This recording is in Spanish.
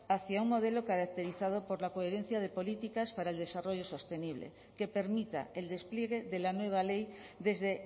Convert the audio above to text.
hacia un modelo caracterizado por la coherencia de políticas para el desarrollo sostenible que permita el despliegue de la nueva ley desde